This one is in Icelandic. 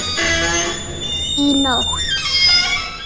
Í nótt?